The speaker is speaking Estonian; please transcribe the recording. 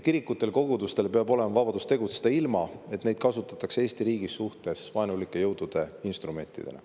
Kirikutel ja kogudustel peab olema vabadus tegutseda ilma, et neid kasutatakse Eesti riigi vastu vaenulike jõudude instrumentidena.